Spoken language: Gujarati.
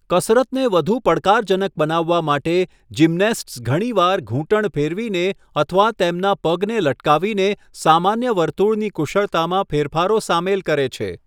કસરતને વધુ પડકારજનક બનાવવા માટે, જિમ્નેસ્ટ્સ ઘણીવાર ઘૂંટણ ફેરવીને અથવા તેમના પગને લટકાવીને સામાન્ય વર્તુળની કુશળતામાં ફેરફારો સામેલ કરે છે.